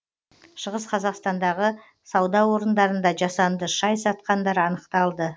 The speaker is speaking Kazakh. шығыс қазақстандағы сауда орындарында жасанды шай сатқандар анықталды